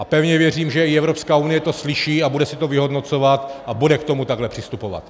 A pevně věřím, že i Evropská unie to slyší a bude se to vyhodnocovat a bude k tomu takhle přistupovat.